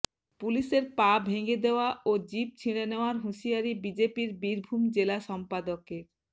পুলিশের পা ভেঙ্গে দেওয়া ও জিভ ছিঁড়ে নেওয়ার হুঁশিয়ারি বিজেপির বীরভূম জেলা সম্পাদকের